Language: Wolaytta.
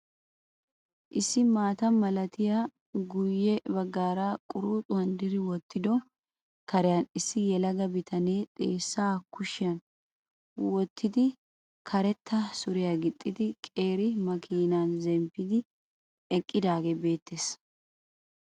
Issi maata malatiyaa guye bagaara quruxxuwan diri wottido kariyan issi yelaga bitanee xeessan kushshiya wottidi karetta syriya gixxidi qeeri makinneen zemppidi eqqidaagee beettees.